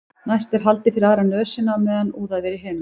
næst er haldið fyrir aðra nösina á meðan úðað er í hina